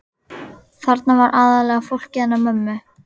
Þarna var aðallega fólkið hennar mömmu.